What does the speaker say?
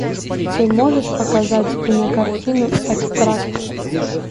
ты можешь показать кинокартину экстракт